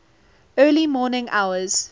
early morning hours